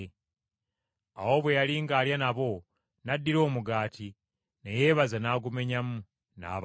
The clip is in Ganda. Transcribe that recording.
Awo bwe yali ng’alya nabo n’addira omugaati, ne yeebaza n’agumenyamu, n’abawa.